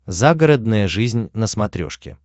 загородная жизнь на смотрешке